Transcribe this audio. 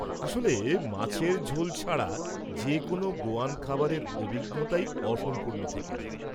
আসলে মাছের ঝোল ছাড়া যে কোনও গোয়ান খাবারের অভিজ্ঞতাই অসম্পূর্ণ থেকে যায়।